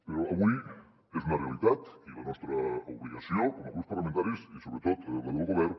però avui és una realitat i la nostra obligació com a grups parlamentaris i sobretot la del govern